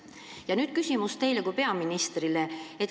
Ja nüüd küsimus teile kui peaministrile.